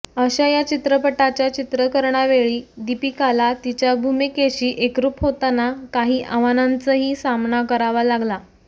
अशा या चित्रपटाच्या चित्रीकरणावेळी दीपिकाला तिच्या भूमिकेशी एकरुप होताना काही आव्हानांचाही सामनाही करावा लागला